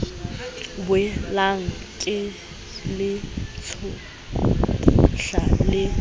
boelang ke le tshohla le